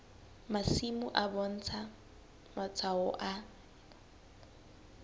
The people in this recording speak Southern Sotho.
masimo e bontsha matshwao a